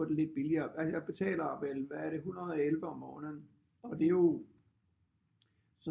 Få det lidt billigere jeg betaler vel hvad er det er det 111 om måneden og det er jo